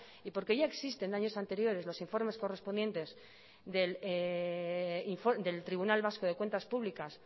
y porque ya existen de años anteriores los informes correspondientes del tribunal vasco de cuentas públicas